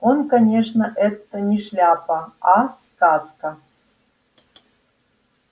он конечно это не шляпа а сказка